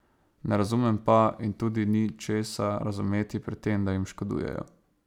Ne razumem pa, in tudi ni česa razumeti pri tem, da jim škodujejo.